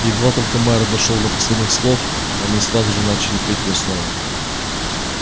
и едва только майер дошёл до последних слов они сразу же начали петь её снова